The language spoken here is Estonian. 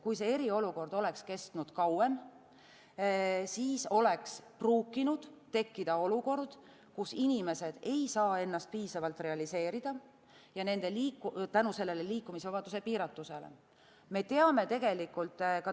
Kui eriolukord oleks kestnud kauem, siis oleks võinud tekkida olukord, kus inimesed ei saa ennast liikumisvabaduse piiratuse tõttu piisavalt realiseerida.